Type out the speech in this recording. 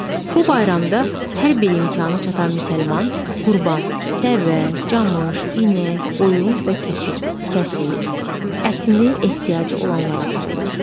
Bu bayramda hər bir imkanı çatan müsəlman qurban, dəvə, camış, inək, qoyun və keçi kəsir, ətini ehtiyacı olanlara paylayır.